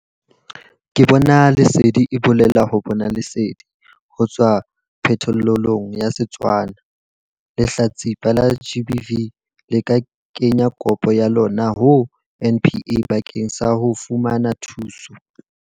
Ke Bona Lesedi e bolela 'ho bona lesedi' ho tswa phetholelong ya Setswana. Lehlatsipa la GBV le ka kenya kopo ya lona ho NPA bakeng sa ho fumana thuso.